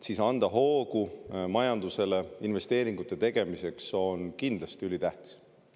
Siis on majandusele hoo andmine investeeringute tegemiseks kindlasti ülitähtis.